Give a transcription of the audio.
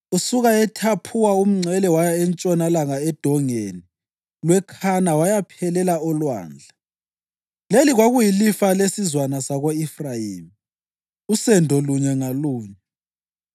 Usuka eThaphuwa umngcele waya entshonalanga eDongeni lweKhana wayaphelela olwandle. Leli kwakuyilifa lesizwana sako-Efrayimi, usendo lunye ngalunye.